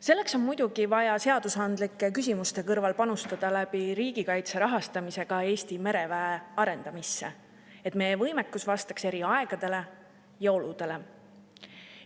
Selleks on muidugi vaja seadusandlike küsimuste kõrval panustada riigikaitse rahastamise kaudu Eesti mereväe arendamisse, et meie võimekus vastaks eri aegadele ja oludele.